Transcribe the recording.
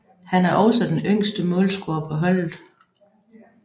Han er også den yngste målscorer på holdet